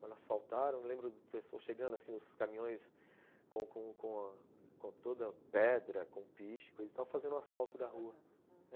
Quando asfaltaram, lembro do pessoal chegando, assim, os caminhões com com com com com toda pedra, com piche, coisa e tal, fazendo o asfalto da rua, aham.